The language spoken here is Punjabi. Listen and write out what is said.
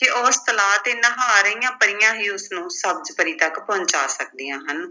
ਤੇ ਉਸ ਤਲਾਅ ਤੇ ਨਹਾ ਰਹੀਆਂ ਪਰੀਆਂ ਹੀ ਉਸਨੂੰ ਸਬਜ਼ ਪਰੀ ਤੱਕ ਪਹੁੰਚਾ ਸਕਦੀਆਂ ਹਨ।